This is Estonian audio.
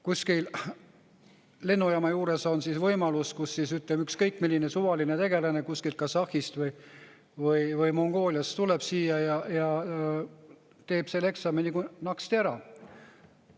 Kuskil lennujaama juures on võimalus, kus ükskõik milline suvaline tegelane kuskilt Kasahhist või Mongooliast tuleb siia ja teeb selle eksami nagu naksti ära.